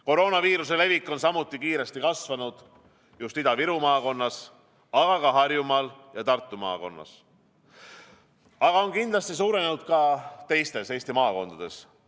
Koroonaviiruse levik on samuti kiiresti kasvanud just Ida-Viru maakonnas, aga ka Harjumaal ja Tartu maakonnas, aga on kindlasti suurenenud ka teistes Eesti maakondades.